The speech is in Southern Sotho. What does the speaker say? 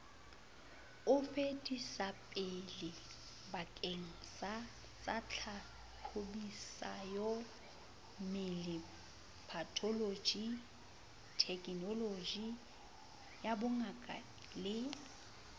o fetisetsapelebakengsatsatlhahlobisoyammele patholoji thekenolojiyabongaka le